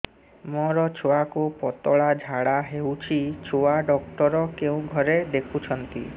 ମୋର ଛୁଆକୁ ପତଳା ଝାଡ଼ା ହେଉଛି ଛୁଆ ଡକ୍ଟର କେଉଁ ଘରେ ଦେଖୁଛନ୍ତି